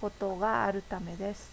ことがあるためです